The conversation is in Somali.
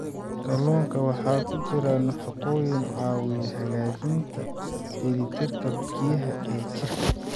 Kalluunka waxaa ku jira nafaqooyin caawiya hagaajinta dheelitirka biyaha ee jirka.